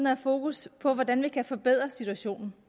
have fokus på hvordan vi kan forbedre situationen